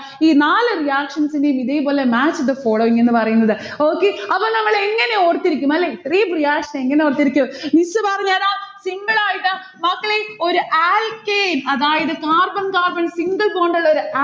ഈ നാല് reactions നെയും ഇതേപോലെ match the following എന്ന് പറയുന്നത്. okay അപ്പൊ നമ്മൾ എങ്ങനെ ഓർത്തിരിക്കും അല്ലെ? ഇത്രെയും reaction എങ്ങനെ ഓർത്തിരിക്കും? miss പറഞ്ഞേരാം. simple ആയിട്ട് ഇതാ മക്കളെ ഒരു alkane അതായത് carbon carbon single bond ഉള്ളൊരു